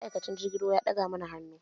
Ma'aikacin jirgin ruwa ya ɗaga muna hannu